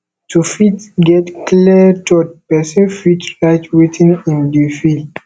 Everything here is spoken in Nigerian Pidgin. to fit get clear thought person fit write wetin im dey feel